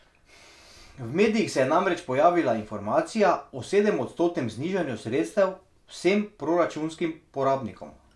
V medijih se je namreč pojavila informacija o sedemodstotnem znižanju sredstev vsem proračunskim porabnikom.